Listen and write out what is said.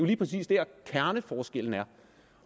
lige præcis der kerneforskellen er